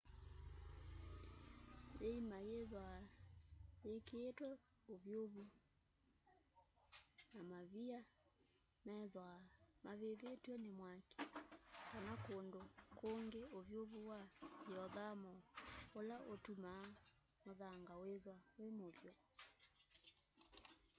yiima yithwaa yikiitwe uvyuvu ni mavia methwaa mavivitw'e ni mwaki kana kundu kungi uvyuvu wa ngyiothamo ula utumaa muthanga withwa wi muvyu